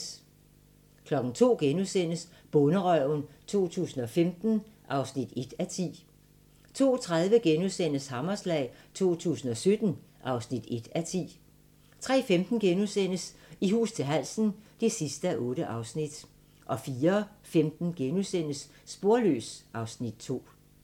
02:00: Bonderøven 2015 (1:10)* 02:30: Hammerslag 2017 (1:10)* 03:15: I hus til halsen (8:8)* 04:15: Sporløs (Afs. 2)*